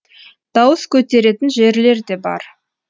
дауыс көтеретін жерлер де бар